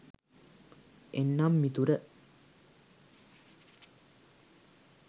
එන්නම් මිතුර